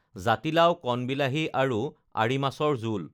জাতিলাও, কণ বিলাহী আৰু আৰি মাছৰ জোল